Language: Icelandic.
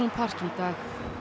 park í dag